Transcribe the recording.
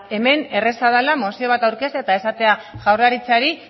hemen erraza dela mozio bat aurkeztea eta esatea jaurlaritzari